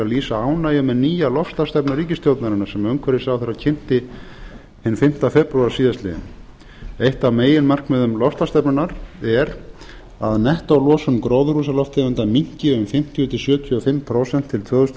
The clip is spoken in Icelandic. lýsa ánægju með nýja loftslagsstefnu ríkisstjórnarinnar sem utanríkisráðherra kynnti hinn fimmta febrúar síðastliðinn eitt af meginmarkmiðum loftslagsstefnunnar er að nettólosun gróðurhúsaloftegunda minnki um fimmtíu til sjötíu og fimm prósent til tvö þúsund